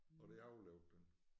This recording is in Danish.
Og det overlevede den